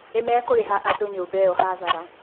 Nĩmekũrĩha andũa nyũmba ĩo hathara.